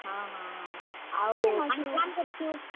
ହଁ ହଁ ହଁ, ଆଉ ।